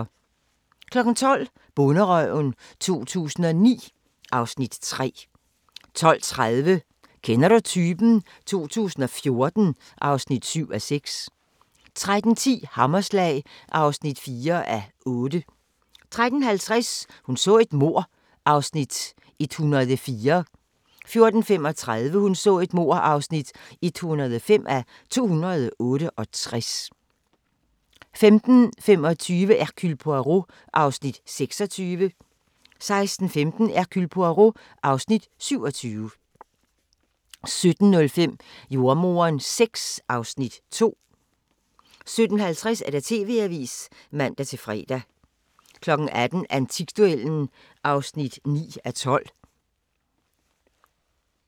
12:00: Bonderøven 2009 (Afs. 3) 12:30: Kender du typen? 2014 (7:8) 13:10: Hammerslag (4:8) 13:50: Hun så et mord (104:268) 14:35: Hun så et mord (105:268) 15:25: Hercule Poirot (Afs. 26) 16:15: Hercule Poirot (Afs. 27) 17:05: Jordemoderen VI (Afs. 2) 17:50: TV-avisen (man-fre) 18:00: Antikduellen (9:12)